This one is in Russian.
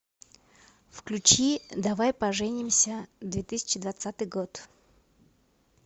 включи давай поженимся две тысячи двадцатый год